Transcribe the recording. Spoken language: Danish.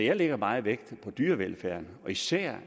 jeg lægger meget vægt på dyrevelfærden og især